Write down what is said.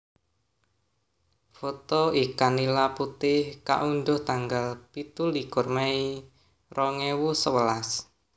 Foto ikan nila putih kaundhuh tanggal pitulikur mei rong ewu sewelas